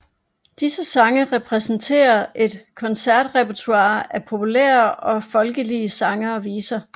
Disse sange repræsenterer et koncertrepertoire af populære og folkelige sange og viser